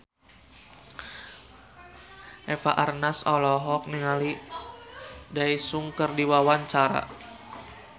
Eva Arnaz olohok ningali Daesung keur diwawancara